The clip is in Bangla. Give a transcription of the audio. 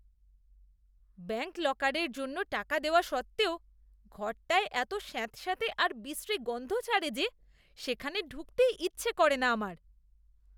ব্যাঙ্ক লকারের জন্য টাকা দেওয়া সত্ত্বেও ঘরটায় এত স্যাঁতস্যাঁতে আর বিশ্রী গন্ধ ছাড়ে যে সেখানে ঢুকতেই ইচ্ছে করে না আমার।